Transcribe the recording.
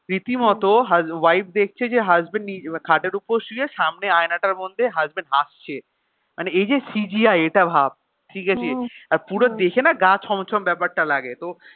রীতিমত ~ wife দেখছে যে husband ~ খাটের ওপর শুয়ে সামনে আয়নাটার মধ্যে husband আসছে মানে এই যে CGI এটা ভাব ঠিক আছে আর পুরো দেখে না গা ছমছম ব্যাপারটা লাগে তো